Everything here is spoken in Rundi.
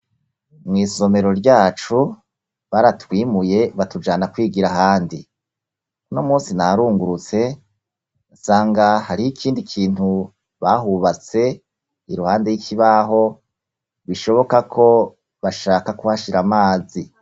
Mw’isomero ryacu, baratwimuye batujana kwigira ahandi; uno munsi narungurutse nsanga hariho ikindi kintu bahubatse, iruhande y'ikibaho, bishoboka ko bashaka kuhashira amazi.